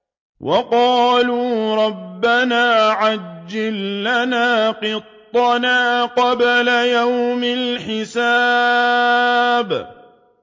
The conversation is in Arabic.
وَقَالُوا رَبَّنَا عَجِّل لَّنَا قِطَّنَا قَبْلَ يَوْمِ الْحِسَابِ